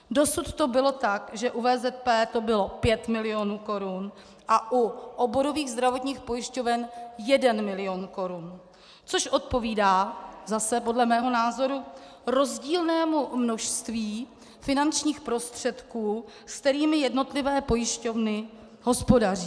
Dosud to bylo tak, že u VZP to bylo 5 milionů korun a u oborových zdravotních pojišťoven 1 milion korun, což odpovídá zase podle mého názoru rozdílnému množství finančních prostředků, se kterými jednotlivé pojišťovny hospodaří.